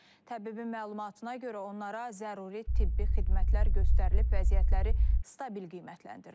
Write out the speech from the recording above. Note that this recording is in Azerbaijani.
Təbibin məlumatına görə, onlara zəruri tibbi xidmətlər göstərilib, vəziyyətləri stabil qiymətləndirilir.